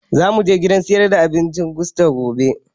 Za mu gidan sayar da abincin gusto gobe